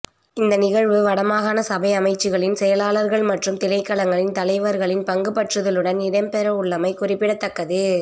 இந்த நிகழ்வு வடமாகாண சபை அமைச்சுக்களின் செயலாளர்கள் மற்றும் திணைக்களங்களின் தலைவர்களின் பங்குபற்றுதலுடன் இடம்பெறவுள்ளமை குறிப்பிடத்தக்கது